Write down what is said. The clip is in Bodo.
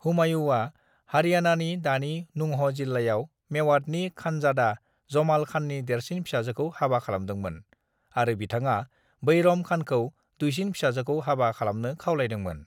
हुमायुंया हरियाणानि दानि नुंह जिल्लायाव मेवातनि खानजादा जमाल खाननि देरसिन फिसाजोखौ हाबा खालामदोंमोन आरो बिथाङा बैरम खानखौ दुयसिन फिसाजोखौ हाबा खालामनो खावलायदोंमोन।